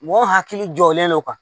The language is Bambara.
Mɔgɔ hakili jɔlen don ka